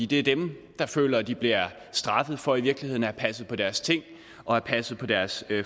det er dem der føler at de bliver straffet for i virkeligheden at have passet på deres ting og passet på deres